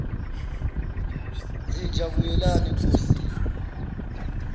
zinja buyelani enkosini